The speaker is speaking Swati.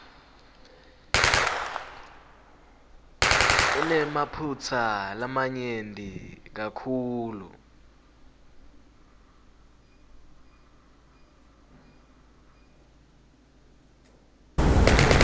inemaphutsa lamanyenti kakhulu